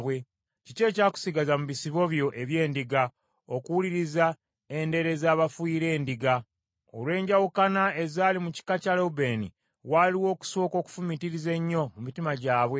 Kiki ekyakusigaza mu bisibo byo eby’endiga, okuwuliriza endere zebafuuyira endiga? Olw’enjawukana ezaali mu kika kya Lewubeeni, waaliwo okusooka okufumiitiriza ennyo mu mitima gyabwe.